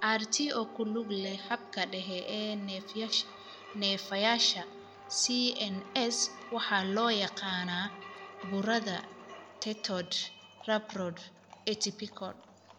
RT oo ku lug leh habka dhexe ee neerfayaasha (CNS) waxaa loo yaqaannaa burada teratoid rhabdoid atypical.